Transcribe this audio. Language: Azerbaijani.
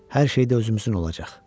Hər şey də özümüzün olacaq.